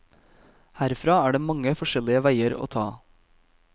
Herfra er det mange forskjellige veier å ta.